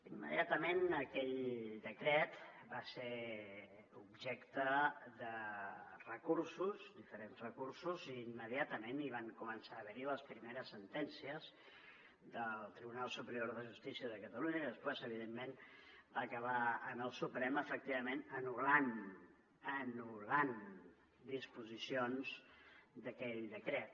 immediatament aquell decret va ser objecte de recursos diferents recursos i immediatament hi van començar a haver les primeres sentències del tribunal superior de justícia de catalunya i després evidentment va acabar en el suprem efectivament que va anul·lar anul·lar disposicions d’aquell decret